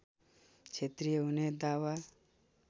क्षेत्रीय हुने दावा